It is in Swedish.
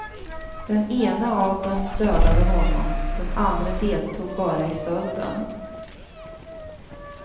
Den ene av dem dödade honom, den andre deltog bara i stölden.